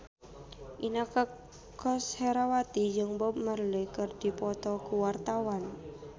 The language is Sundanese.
Inneke Koesherawati jeung Bob Marley keur dipoto ku wartawan